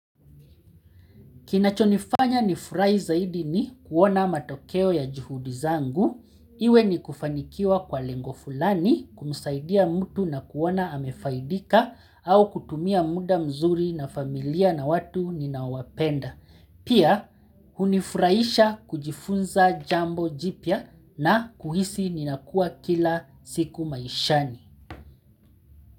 Kinachonifanya nifurahi zaidi ni kuona matokeo ya juhudi zangu. Iwe ni kufanikiwa kwa lengo fulani kumsaidia mtu na kuona amefaidika au kutumia muda mzuri na familia na watu ninawapenda. Pia hunifurahisha kujifunza jambo jipya na kuhisi ninakua kila siku maishani.